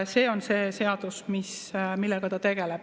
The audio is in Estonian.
Sellega see seadus tegeleb.